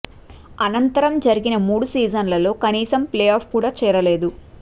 అనంతరం జరిగిన మూడు సీజన్లలో కనీసం ప్లే ఆఫ్ కూడా చేరలేదు